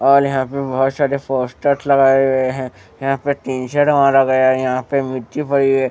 और यहां पे बहुत सारे पोस्टर्स लगाए हुए हैं यहां पे स्क्रीनशॉट मारा गया है यहां पे मिट्टी पड़ी--